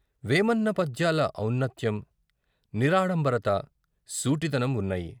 వేమన్న పద్యాల ఔన్నత్యం, నిరాడంబరత, సూటిదనం వున్నాయి.